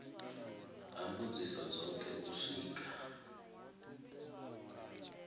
ha mbudziso dzothe u swika